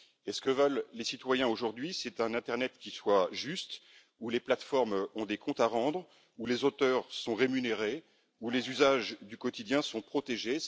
Ce que veulent les citoyens aujourd'hui, c'est un internet qui soit juste, où les plateformes ont des comptes à rendre, où les auteurs sont rémunérés, où les usages du quotidien sont protégés.